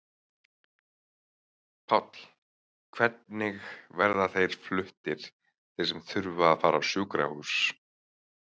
Páll: Hvernig verða þeir fluttir þeir sem þurfa að fara á sjúkrahús?